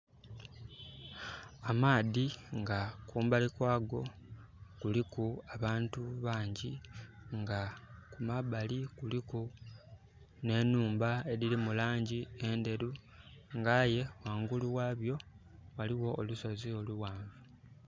Amaadhi nga kumbali kwa go kuliku abantu bangi nga kumabali kuliku ne nhumba ediri mu langi enderu nga aye wangulu wabyo waliwo olusozi oluwanvu